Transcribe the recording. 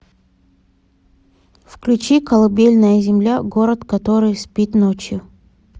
включи колыбельная земля город который спит ночью